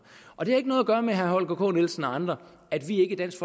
og det har ikke noget at gøre med herre holger k nielsen og andre at vi ikke i dansk